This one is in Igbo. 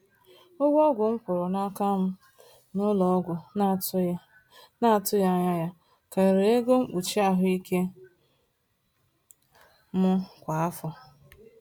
Ụgwọ ọgwụ m kwụrụ n’aka m n’ụlọọgwụ na-atụghị na-atụghị anya ya karịrị ego mkpuchi ahụike m kwa afọ.